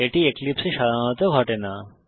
এটি এক্লিপসে এ সাধারণত ঘটে না